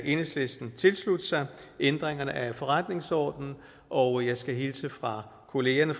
enhedslisten tilslutte sig ændringerne af forretningsordenen og jeg skal hilse fra kollegaerne